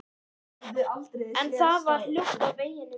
En það var hljótt á veginum.